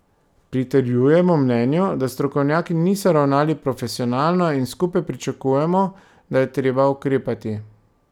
Pritrjujemo mnenju, da strokovnjaki niso ravnali profesionalno, in skupaj pričakujemo, da je treba ukrepati.